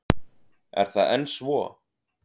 Er það enn svo?